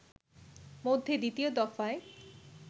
মধ্যে দ্বিতীয় দফায়